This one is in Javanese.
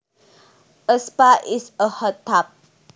A spa is a hot tub